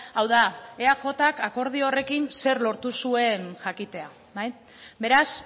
hau da eajk akordio horrekin zer lortu zuen jakitea beraz